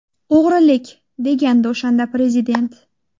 O‘g‘rilik!”, degandi o‘shanda Prezident.